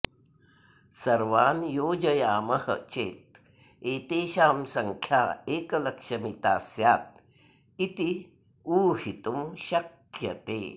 सर्वान् योजयामः चेत् एतेषां सङ्ख्या एकलक्षमिता स्यात् इति ऊहितुं शक्यते